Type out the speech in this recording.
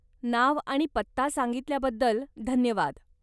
नाव आणि पत्ता सांगितल्याबद्दल धन्यवाद.